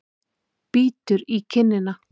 Bítur í kinnina.